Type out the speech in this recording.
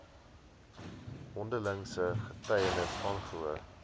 mondelingse getuienis aangehoor